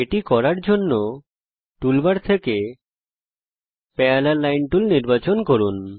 এটা করার জন্যে টুলবার থেকে প্যারালেল লাইন টুল নির্বাচন করুন